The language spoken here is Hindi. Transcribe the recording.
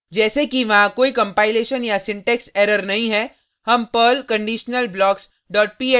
जैसे कि वहाँ कोई कंपाइलेशन या सिंटेक्स एरर नहीं है हम perl conditionalblocks dot pl को टाइप करके